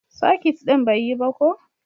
soket din bai yi ba ko